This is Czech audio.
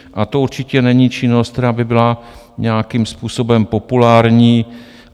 A to určitě není činnost, která by byla nějakým způsobem populární.